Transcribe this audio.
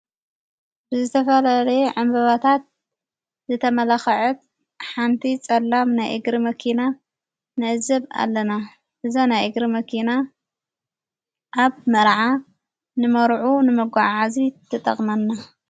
ብዝተፈልለየ ዕንምበባታት ዘተመላኽዐት ሓንቲ ጸላም ናይ ኢግሪ መኪና ንገዝእ ኣለና። እዛ ናይ ኢግሪ መኪና ኣብ መረዓ ንመርዑ ንመጕዓዓዛ ትጠቕመና።